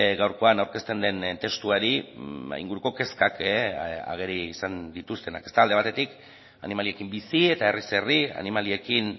gaurkoan aurkezten den testuari inguruko kezkak ageri izan dituztenak ezta alde batetik animaliekin bizi eta herriz herri animaliekin